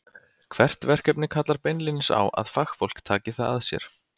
Hvert verkefni kallar beinlínis á að fagfólk taki það að sér.